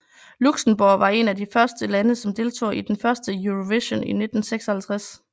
Luxembourg var en af de første lande som deltog i den første Eurovision i 1956